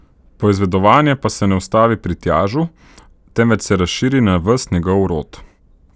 Poizvedovanje pa se ne ustavi pri Tjažu, temveč se razširi na ves njegov rod.